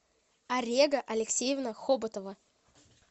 арега алексеевна хоботова